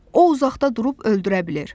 O uzaqda durub öldürə bilir.